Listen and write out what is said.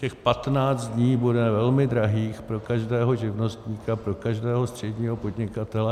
Těch 15 dní bude velmi drahých pro každého živnostníka, pro každého středního podnikatele.